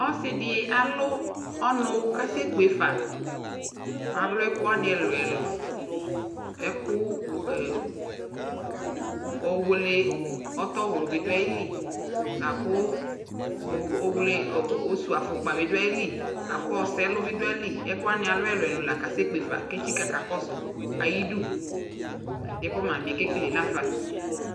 Ɔsi dι alʋ ɔnʋ kʋ asɛkpe fa Alʋ ɛkʋ wani ɛlʋɛlʋ Ɛkʋ ɛ ɔwlι ɔtɔwlʋ bι dʋ ayʋ lι la kʋ owle osuafukpa bι dʋ ayʋlι la kʋ ɔsɛlʋ bι dʋ ayʋ li Ɛkʋwani alʋ ɛlʋɛlʋ la asɛkpe fa Etsika kakɔsu ayʋ du Ɛdi yɛ kʋ mami yɛ kekele la fa